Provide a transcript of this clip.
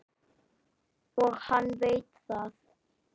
Og hann veit það.